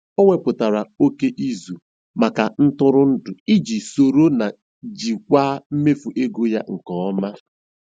O wepụtara oke izu maka ntụrụndụ iji soro na jikwaa mmefu ego ya nke ọma.